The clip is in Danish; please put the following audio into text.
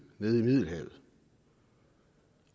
nede i middelhavet